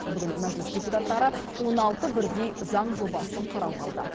бүгін мәжіліс депутаттары он алты бірдей заң жобасын қарауға алды